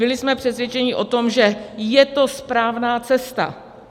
Byli jsme přesvědčeni o tom, že je to správná cesta.